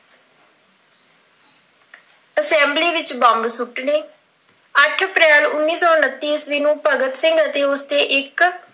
assembly ਵਿੱਚ bomb ਸੁੱਟਣੇ, ਅੱਠ ਅਪ੍ਰੈਲ ਉਨੱੀ ਸੌ ਉੱਨਤੀ ਈਸਵੀ ਨੂੰ ਭਗਤ ਸਿੰਘ ਤੇ ਉਸ ਦੇ ਇੱਕ